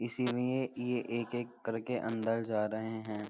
इसीलिए ये एक-एक करके अंदर जा रहे हैं।